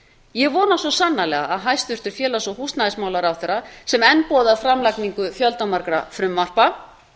ég vona svo sannarlega að hæstvirtur félags og húsnæðismálaráðherra sem enn boðar framlagningu fjöldamargra frumvarpa